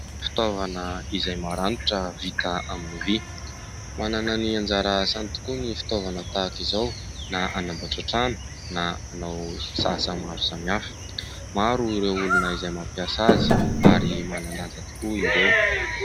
Fitaovana izay maranitra vita amin'ny vy manana ny anjara asany tokoa ny fitaovana tahaka izao na anamboatra trano na anao asa maro samihafa. Maro ireo olona izay mampiasa azy ary manan-danja tokoa ireo.